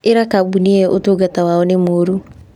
ĩra kambũnĩ io Ũtungata wao nĩ mũũru